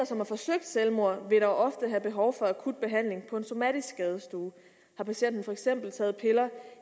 som har forsøgt selvmord vil dog ofte have behov for akut behandling på en somatisk skadestue har patienten for eksempel taget piller